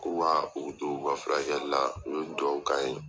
k'u ka u u ka furakɛli la u ye dugawu k'an ye .